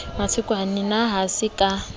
matekwane na ha se ka